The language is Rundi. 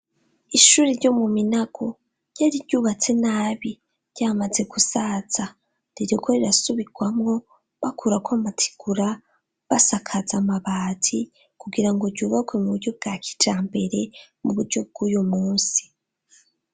Ishuri ryo mu Minago, ryari ryubatse nabi ryamaze gusaza rireko rirasubirwamo bakurako amategura basakaza amabati kugira ngo ryubakwe mu buryo bwa kijambere mu buryo bw'uyu munsi.